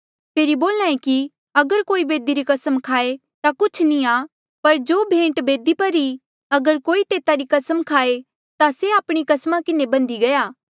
फेरी बोल्हा ऐें कि अगर कोई बेदी री कसम खाए ता कुछ नी आ पर जो भेंट बेदी पर ई अगर कोई तेता री कसम खाए ता से आपणी कस्मा किन्हें बन्धी गया